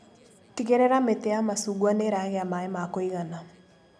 Tigĩrĩra mĩtĩ ya macungwa nĩiragĩa maĩ ma kũigana.